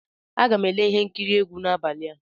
Aga m ele ihe nkiri egwu n'abalị a.